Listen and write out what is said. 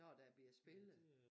Når der bliver spillet